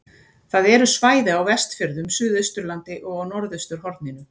Það eru svæði á Vestfjörðum, Suðausturlandi og á norðausturhorninu.